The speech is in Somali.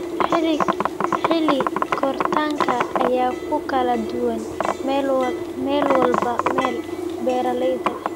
Xilli-koritaanka ayaa ku kala duwan meelba meel. Beeralayda